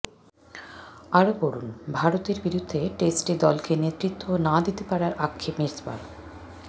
আরও পড়ুন ভারতের বিরুদ্ধে টেস্টে দলকে নেতৃত্ব না দিতে পারার আক্ষেপ মিসবার